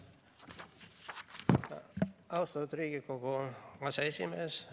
Austatud Riigikogu aseesimees!